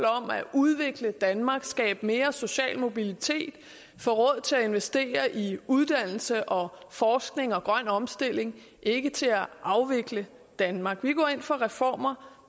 om at udvikle danmark skabe mere social mobilitet få råd til at investere i uddannelse og forskning og grøn omstilling ikke til at afvikle danmark vi går ind for reformer